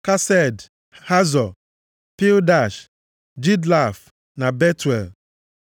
Kesed, Hazọ, Pildash, Jidlaf na Betuel.”